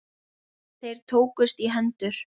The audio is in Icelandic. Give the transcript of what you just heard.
Þeir tókust í hendur.